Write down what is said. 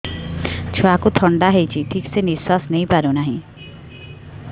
ଛୁଆକୁ ଥଣ୍ଡା ହେଇଛି ଠିକ ସେ ନିଶ୍ୱାସ ନେଇ ପାରୁ ନାହିଁ